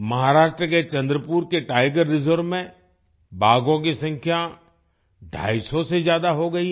महाराष्ट्र के चंद्रपुर के tiger reserve में बाघों की संख्या ढ़ाईसौ से ज्यादा हो गयी है